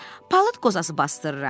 Palıd qozası basdırıram.